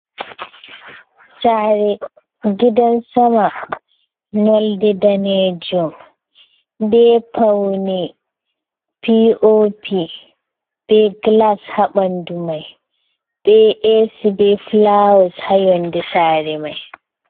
Sare gidan sama nolde danejum, be paune piopi, be glas ha ɓandu mai, be esi, be fulawes ha yonde sare mai.